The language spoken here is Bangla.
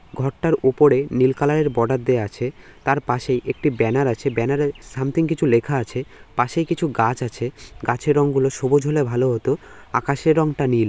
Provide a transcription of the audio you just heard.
ঘরটার উপরে নীল কালার -এর বর্ডার দেওয়া আছে তার পাশে একটি ব্যানার আছে ব্যানার -এ সামথিং কিছু লেখা আছে পাশে কিছু গাছ আছে গাছের রং গুলো সবুজ হলে ভালো হতো আকাশের রংটা নীল।